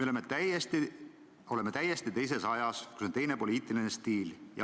Me elame täiesti teises ajas, kus on teine poliitiline stiil.